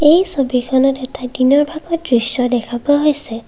এই ছবিখনত এটা দিনৰ ভাগৰ দৃশ্য দেখা পোৱা হৈছে।